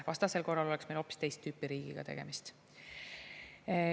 Vastasel korral oleks meil hoopis teist tüüpi riigiga tegemist.